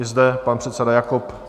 I zde pan předseda Jakob.